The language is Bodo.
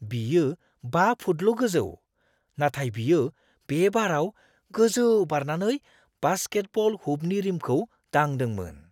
बियो 5 फुटल' गोजौ, नाथाय बियो बे बाराव गोजौ बारनानै बास्केटबल हुपनि रिमखौ दांदोंमोन।